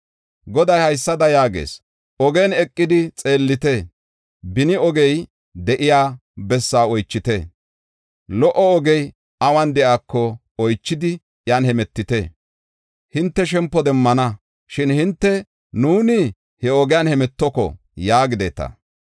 Goday haysada yaagees: “Ogiyan eqidi xeellite; beni ogey de7iya bessaa oychite. Lo77o ogey awun de7iyako oychidi iyan hemetite; hinte shempo demmana. Shin hinte, nuuni he ogiyan hemetoko!” yaagideta.